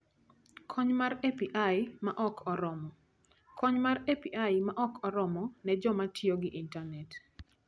Kony mar API ma ok oromo: Kony mar API ma ok oromo ne joma tiyo gi intanet.